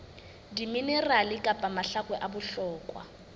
diminerale kapa mahakwe a bohlokwa